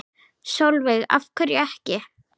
Sólveig: Af hverju ekki?